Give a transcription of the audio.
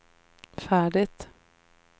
färdigt